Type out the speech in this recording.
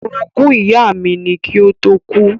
Orogún ìyá mi ni kí ó tó kú.